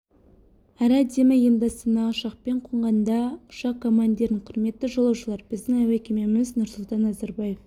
әрі әдемі енді астанаға ұшақпен қонғанда ұшақ командирінің құрметті жолаушылар біздің әуе кемеміз нұрсұлтан назарбаев